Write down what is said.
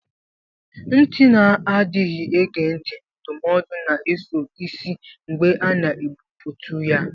Ntị na-adịghị ege ntị ndụmọdụ na-eso isi mgbe a na-egbutu ya.